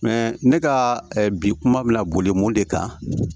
ne ka bi kuma mina boli mun de kan